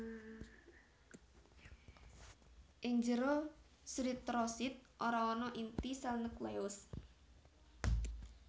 Ing jero sritrosit ora ana inti sèl nukleus